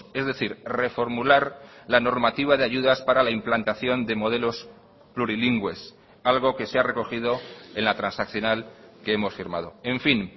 es decir reformular la normativa de ayudas para la implantación de modelos plurilingües algo que se ha recogido en la transaccional que hemos firmado en fin